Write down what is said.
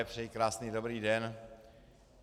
Přeji krásný dobrý den.